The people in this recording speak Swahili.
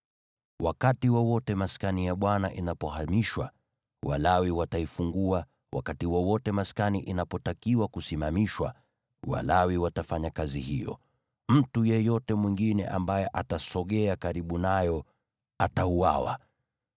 Wakati wowote Maskani inapohamishwa, Walawi wataifungua, na wakati wowote maskani inapotakiwa kusimamishwa, Walawi watafanya kazi hiyo. Mtu yeyote mwingine ambaye atasogea karibu nayo atauawa.